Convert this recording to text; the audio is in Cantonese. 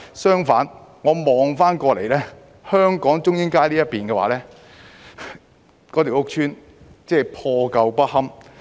相反，我看到香港的中英街的屋邨破舊不堪。